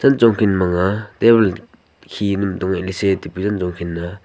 chechong khin manga tabun khi se taipe chenchong khin na nga.